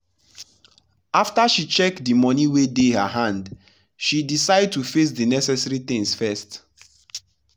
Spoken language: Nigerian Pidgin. after she check the money wey dey her hand she decide to face the necessary things first.